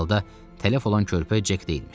Hər halda tələf olan körpə Cek deyilmiş.